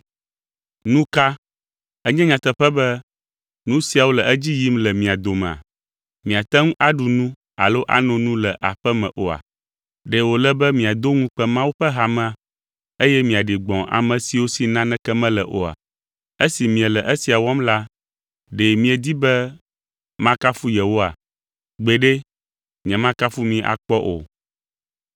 Nu ka! Enye nyateƒe be nu siawo le edzi yim le mia domea? Miate ŋu aɖu nu alo ano nu le aƒe me oa? Ɖe wòle be miado ŋukpe Mawu ƒe hamea eye miaɖi gbɔ̃ ame siwo si naneke mele oa? Esi miele esia wɔm la, ɖe miedi be makafu yewoa? Gbeɖe, nyemakafu mi akpɔ o.